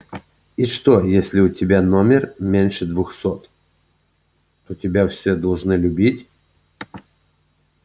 и что если у тебя номер меньше двухсот то тебя все должны любить